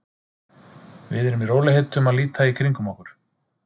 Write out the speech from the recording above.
Við eru í rólegheitum að líta í kringum okkur.